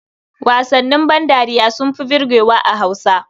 Wasannin bandariya sun fi burgewa a Hausa.